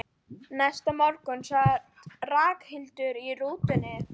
Næsta morgun sat Ragnhildur í rútunni.